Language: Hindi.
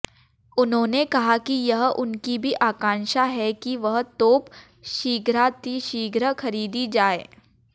उन्होंने कहा कि यह उनकी भी आकांक्षा है कि वह तोप शीघ्रातिशीघ्र खरीदी जाये